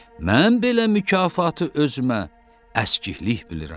Mən belə mükafatı özümə əskiklik bilirəm.